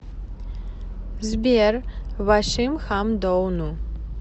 сбер вашимхамдоуну